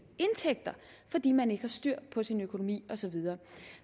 indtægter fordi man ikke har styr på sin økonomi og så videre